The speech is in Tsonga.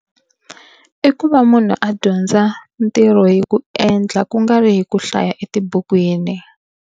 I ku va munhu a dyondza ntirho hi ku endla ku nga ri hi ku hlaya etibukwini.